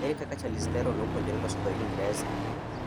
Ere kaka Charlize Theron nopuonjore loso dho Ingresa